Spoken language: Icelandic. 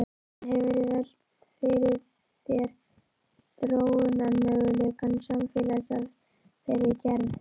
En hefurðu velt fyrir þér þróunarmöguleikum samfélags af þeirri gerð?